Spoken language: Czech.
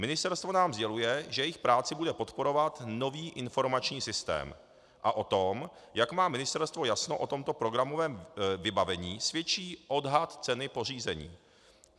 Ministerstvo nám sděluje, že jejich práci bude podporovat nový informační systém, a o tom, jak má ministerstvo jasno o tomto programovém vybavení, svědčí odhad ceny pořízení.